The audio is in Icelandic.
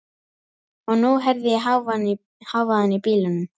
Og nú heyri ég hávaðann í bílunum.